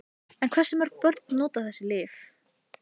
En hversu mörg börn nota þessi lyf?